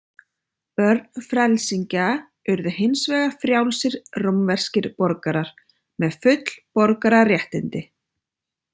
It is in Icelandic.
Börn frelsingja urðu hins vegar frjálsir rómverskir borgarar með full borgararéttindi.